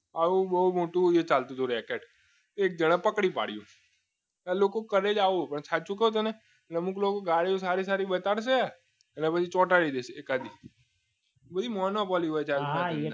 આવું બહુ મોટું એ ચાલતું હતું રેકેટ એક જાણે પકડી પાડી તો લોકો કરે આવો તને સાચું કહું અમુક લોકો ગાડી સારી સારી બતાવશે પછી ચોંટાડી દેશે એ ટાઈપની બધી મોનોપોલીઓ હોય છે